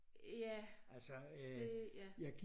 Ja det ja